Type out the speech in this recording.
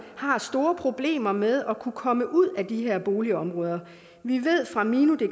har store problemer med at kunne komme ud af de her boligområder vi ved fra minodk